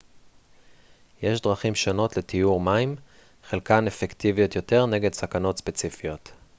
יש דרכים שונות לטיהור מים חלקן אפקטיביות יותר נגד סכנות ספציפיות